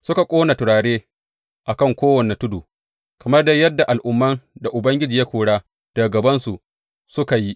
Suka ƙona turare a kan kowane tudu, kamar dai yadda al’umman da Ubangiji ya kora daga gabansu suka yi.